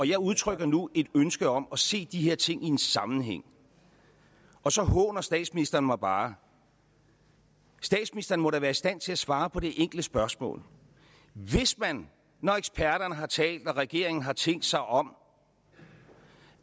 jeg udtrykker nu et ønske om at se de her ting i en sammenhæng og så håner statsministeren mig bare statsministeren må da være i stand til at svare på det enkle spørgsmål hvis man når eksperterne har talt og når regeringen har tænkt sig om